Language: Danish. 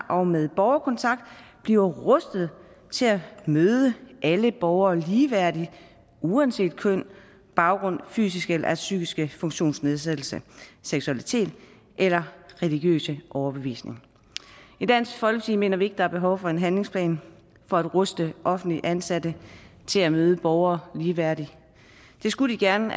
og med borgerkontakt bliver rustet til at møde alle borgere ligeværdigt uanset køn baggrund fysiske eller psykiske funktionsnedsættelser seksualitet eller religiøs overbevisning i dansk folkeparti mener vi ikke der er behov for en handlingsplan for at ruste offentligt ansatte til at møde borgere ligeværdigt det skulle de gerne